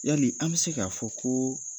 Yalii an bɛ se k'a fɔ koo